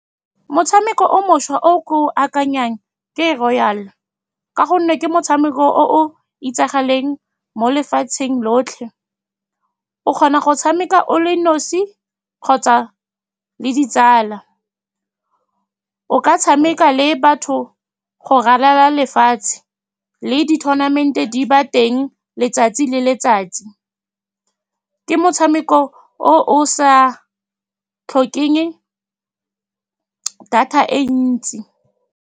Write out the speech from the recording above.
Motshameko o mošwa o ko akanyang ke Royal, ka gonne ke motshameko o o itsagaleng mo lefatsheng lotlhe. O kgona go tshameka o le nosi kgotsa le ditsala. O ka tshameka le batho go ralala lefatshe, le di-tournament-e di ba teng letsatsi le letsatsi. Ke motshameko o o sa tlhokeng data e ntsi.